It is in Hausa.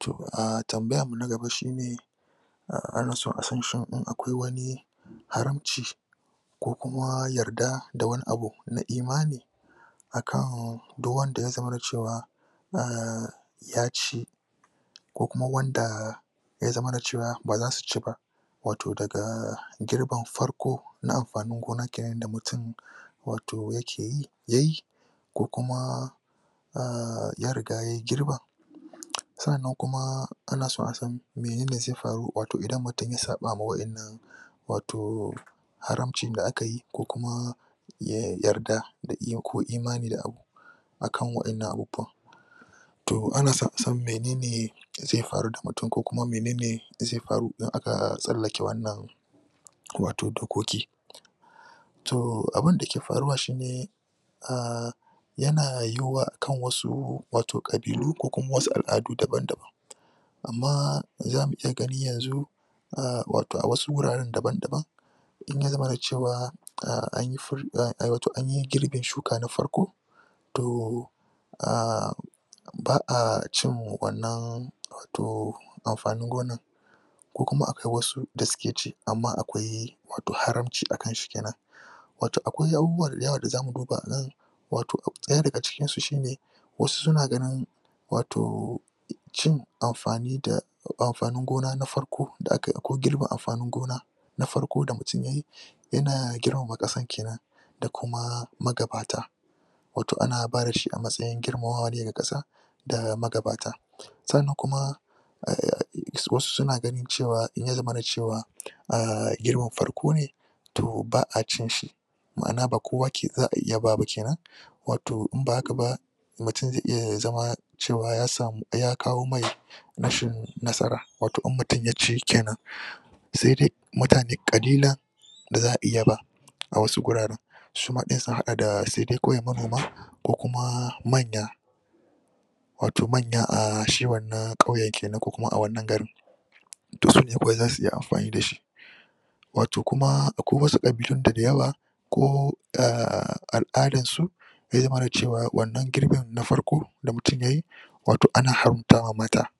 To a tambayarmu na gaba shi ne ana son a san shin akwai wani haramce ko kuma yarda da wani abu na imani a kan duk wanda ya zama cewa um ya ce ko kuma wanda ya zamana cewa ba za su ci ba Wato daga girban farko na amfanin gona ke nan da mutum wato yake yi yayi. ko kuma a ya riga ya girba. sannan kuma ana so a san mene ne zai faru idan mutum ya saɓa ma waɗannan wato haramcin da aka yi yarda da iko imanin abu a kan waɗannan abubuwa to ana son a san mene ne zai faru da mutum ko kuma mene ne zai faru in aka tsallake wannan wato dokoki to abunda ke faruwa shi ne yana yiwuwa a kan wasu ƙabilu ko kuma wasu al'adu dabam-daban amma zamu iya gani yanzu a wato a wasu wuraren dabam-daban in ya zamana cewa a an yi girbin shuka na farko to a ba a cin wannan amfanin gonar ko kuma akwai wasu da suke ci amma akwai haranci a kanshi ke nan wato akwai abubuwa da yawa da za mu duba a nan wato abu ɗaya daga cikin su shi ne. wasu suna ganin wato cin amfani da amfanin gona na farko da akai akwai girbe amfanin gona na farko da mutum ya yi yana girmama ƙasar ke nan da kuma magabata wato ana bada shi a matsayin girmamawa ne ga ƙasa da magabata. Sannan kuma, Wasu suna ganin cewa in ya zamana cewa a girbin farko ne to ba a cin shi. ma'ana ba kowa za aiya ba ba ke nan wato in ba haka ba mutum zai iya zama cewa ya samu ya kawo mai rashin nasara wato in mutum ya ci ke nan sai dai mutane ƙalilan da za a iya ba a wasu wuraren. Suma ɗin sun haɗa da sai dai kawai irin manoma ko kuma manya manya a shi wannan ƙauyen ke nan ko kuma wannan garin. to sune kawai za su iya amfani da shi wato kuma akwai wasu ƙabilun da da yawa ko al'adansu zai zamana cewa wannan girbin na farko da mutum ya yi wato ana habgawa mata